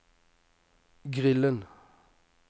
grillen